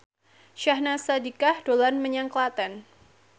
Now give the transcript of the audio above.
Syahnaz Sadiqah dolan menyang Klaten